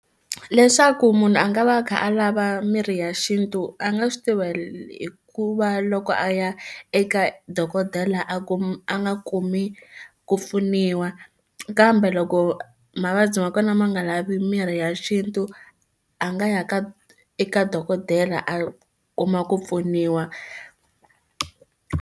Leswaku munhu a nga va a kha a lava mirhi ya xintu a nga swi tivi hikuva loko a ya eka dokodela a kuma a nga kumi ku pfuniwa kambe loko mavabyi ma kona ma nga lavi mirhi ya xintu a nga ya ka eka dokodela a kuma ku pfuniwa.